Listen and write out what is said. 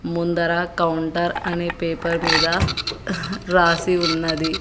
ముందర కౌంటర్ అనే పేపర్ మీద రాసి ఉన్నది.